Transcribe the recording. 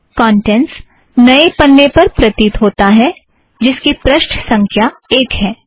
contents नए पन्ने पर प्रतीत होता है जिसकी पृष्ठ संख्या एक है